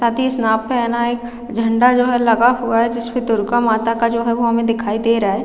साथ ही स्नैप पेहना एक झंडा जो है लगा हुआ है जिसपे दुर्गा माता का जो है वो हमें दिखाई दे रहा हैं ।